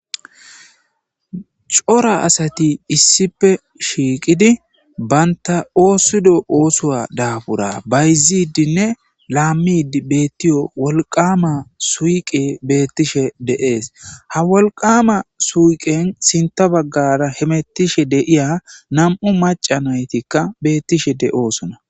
Corra assati issipe utidi banitta osuwa dabura ayifiya bayizidinne dewo woliqama suyikeyi betishe desi hha woliqama suyikiyan sinitha baggara betishe diya namu'u maccati betosona